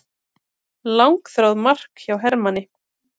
Langþráð mark hjá Hermanni